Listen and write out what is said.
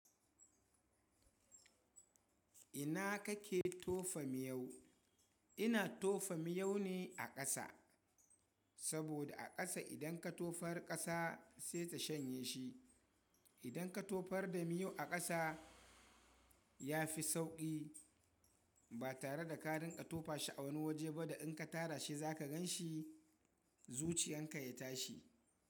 Ina kake tofa miyau? Ina tofa miyau ne a ƙasa. Saboda a ƙasa idan ka tofar ƙasa sai ta shanye shi. Idan ka tofar da miyu a ƙasa ya fi sauƙi ba tare da ka rinka ka tofa shi a wani waje ba da in ka tara shi za ka gan shi zuciyan ka ya tashi.